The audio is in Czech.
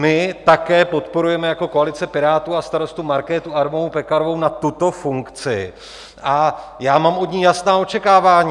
My také podporujeme jako koalice Pirátů a Starostů Markétu Adamovou Pekarovou na tuto funkci a já mám od ní jasná očekávání.